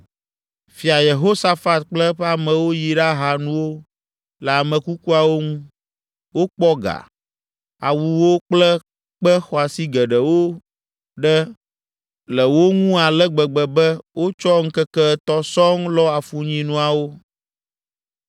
Fia Yehosafat kple eƒe amewo yi ɖaha nuwo le ame kukuawo ŋu. Wokpɔ ga, awuwo kple kpe xɔasi geɖewo ɖe le wo ŋu ale gbegbe be wotsɔ ŋkeke etɔ̃ sɔŋ lɔ afunyinuawo!